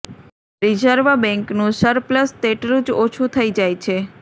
reserve બેંકનું surplus તેટલું જ ઓછૂ થઇ જાય છે